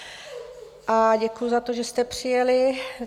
A děkuji za to, že jste přijeli.